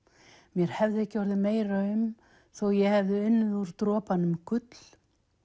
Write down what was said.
mér hefði ekki orðið meira um þó ég hefði unnið úr dropanum gull